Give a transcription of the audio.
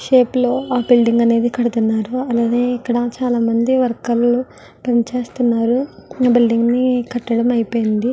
ఆ షేప్ లోని బిల్డింగ్ అనేది కడుతున్నారు. ఇక్కడ చాలామంది వర్కర్లు పనిచేస్తున్నారు. ఆ బిల్డింగ్ ని కట్టడం అయిపోయింది.